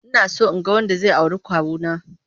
Inaso inga wanda zai auri kawuna.